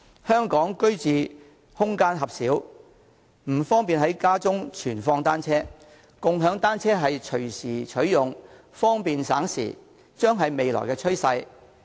香港居住空間狹小，不方便在家中存放單車，而共享單車可隨時取用，方便省時，將會是未來的趨勢。